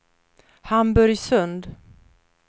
Hamburgsund